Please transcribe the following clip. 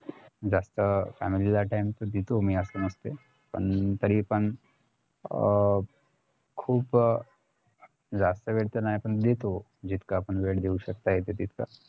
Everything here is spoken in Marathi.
जास्त family ला time देतो मी असं नसतंय पण तरी पण अं खुप जास्त वेळ न्हाय पण देतो जितका आपणवेळ देऊ शकतो तास